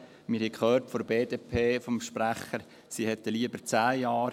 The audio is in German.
Wir haben vom Sprecher der BDP gehört, sie hätten lieber zehn Jahre.